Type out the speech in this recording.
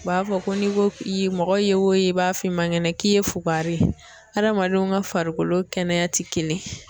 U b'a fɔ ko n'i ko k'i ye mɔgɔ ye wo ye i b'a f'i man kɛnɛ k'i ye fugariye adamadenw ka farikolo kɛnɛya ti kelen ye.